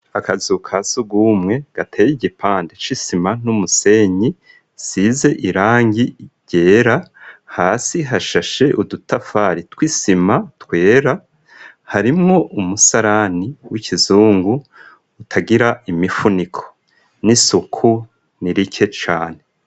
Akazu ka sugumwe gateye igipande c'isima n'umusenyi isize irangi ryera hasi hashashe udutafari twisima twera harimo umusarani w'ikizungu utagira imifuniko n'isuku ni rike cane.